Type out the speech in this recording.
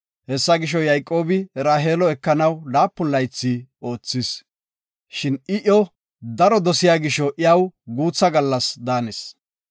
Hessa gisho, Yayqoobi Raheelo ekanaw laapun laythi oothis. Shin I iyo daro dosiya gisho, iyaw guutha gallas daanis.